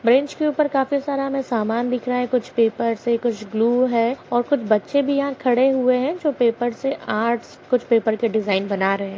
Bench के ऊपर काफी सारा हमे सामान दिख रहा है कुछ पेपर से कुछ ग्लू है और कुछ बच्चे भी यहाँ खड़े हुए है जो पेपर से आर्ट्स कुछ पेपर के डिजाइन बना रहे है।